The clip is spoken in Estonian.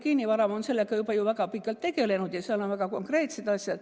Geenivaramu on sellega juba ju väga pikalt tegelenud ja seal on väga konkreetseid asju.